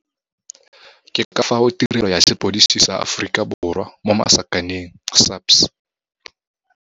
Ke ka fao Tirelo ya Sepodisi sa Aforikaborwa SAPS.